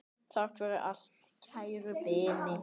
Takk fyrir allt, kæru vinir!